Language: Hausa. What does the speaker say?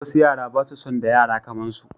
Wasu yara ba su son da yara kaman su